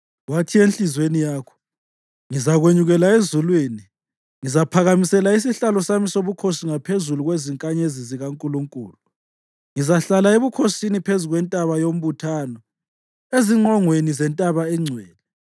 Wathi enhliziyweni yakho, “Ngizakwenyukela ezulwini, ngizaphakamisela isihlalo sami sobukhosi ngaphezu kwezinkanyezi zikaNkulunkulu; ngizahlala ebukhosini phezu kwentaba yombuthano, ezingqongweni zentaba engcwele.